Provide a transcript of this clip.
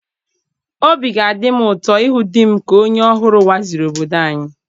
Obi ga-adị m ụtọ ịhụ di m ka onye ọhụrụ waziri obodo anyị.